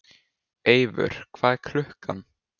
Eivör, hvað er klukkan?